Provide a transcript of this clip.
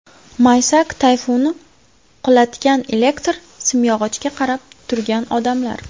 Maysak tayfuni qulatgan elektr simyog‘ochga qarab turgan odamlar.